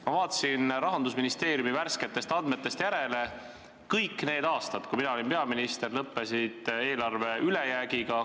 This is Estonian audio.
Ma vaatasin Rahandusministeeriumi värsketest andmetest järele: kõik need aastad, kui mina olin peaminister, lõppesid eelarveaastad ülejäägiga.